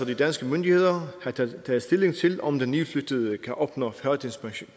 de danske myndigheder så have taget stilling til om den nytilflyttede kan opnå førtidspension